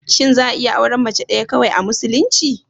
Shin za'a iya auren Mace ɗaya kawai, a musulunci?